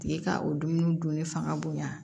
Tigi ka o dumuni dunni fanga bonya